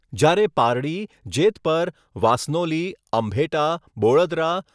જ્યારે પારડી, જેતપર, વાસનોલી, અંભેટા, બોળદરા,